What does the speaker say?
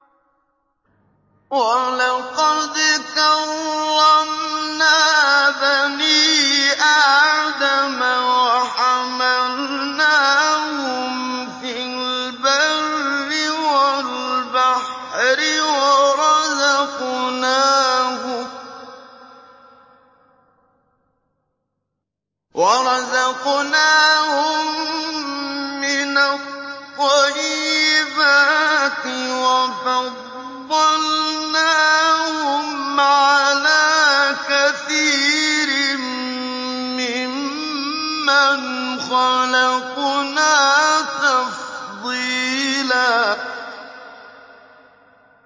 ۞ وَلَقَدْ كَرَّمْنَا بَنِي آدَمَ وَحَمَلْنَاهُمْ فِي الْبَرِّ وَالْبَحْرِ وَرَزَقْنَاهُم مِّنَ الطَّيِّبَاتِ وَفَضَّلْنَاهُمْ عَلَىٰ كَثِيرٍ مِّمَّنْ خَلَقْنَا تَفْضِيلًا